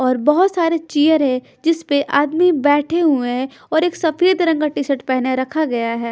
और बहोत सारे चेयर है जिस पे आदमी बैठे हुए हैं और एक सफेद रंग का टी शर्ट पहने रखा गया है।